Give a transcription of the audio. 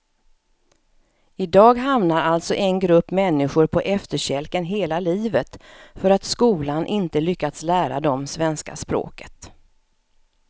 I dag hamnar alltså en grupp människor på efterkälken hela livet för att skolan inte lyckats lära dem svenska språket.